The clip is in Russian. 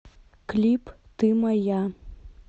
клип ты моя